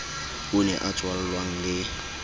o ne a tswallwang le